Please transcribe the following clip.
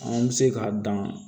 An bɛ se k'a dan